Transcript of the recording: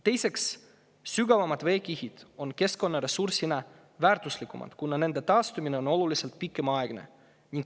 Teiseks, sügavamad veekihid on keskkonnaressursina väärtuslikumad, kuna nende taastumine võtab tunduvalt rohkem aega.